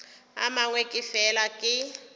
a mangwe ke fela ke